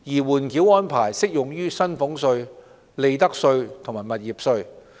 緩繳安排適用於薪俸稅、利得稅及物業稅。